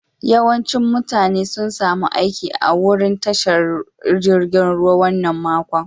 Yawancin mutane sun samu aiki a'wurin tashar jirigin ruwan wanan makon.